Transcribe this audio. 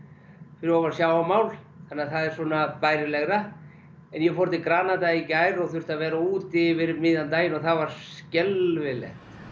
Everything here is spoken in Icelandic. fyrir ofan sjávarmál þannig að það er svona bærilegra en ég fór til Granada í gær og þurfti að vera úti yfir miðjan daginn og það var skelfilegt